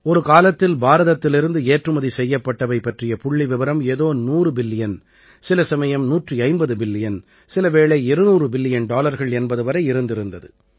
ஒரு காலத்தில் பாரதத்திலிருந்து ஏற்றுமதி செய்யப்பட்டவை பற்றிய புள்ளிவிவரம் ஏதோ 100 பில்லியன் சில சமயம் 150 பில்லியன் சில வேளை 200 பில்லியன் டாலர்கள் என்பது வரை இருந்திருந்தது